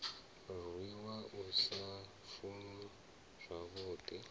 rwiwa u sa funzwa zwavhudi